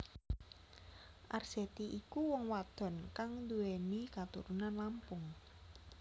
Arzetti iku wong wadon kang nduwèni katurunan Lampung